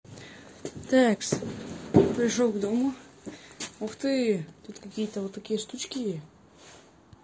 такс пришёл к дому ух ты тут какие-то вот такие штуки